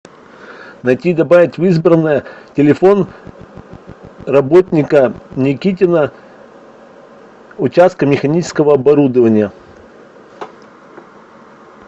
найти и добавить в избранное телефон работника никитина участка механического оборудования